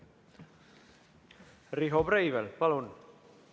Riho Breivel, palun!